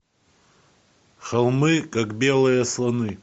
холмы как белые слоны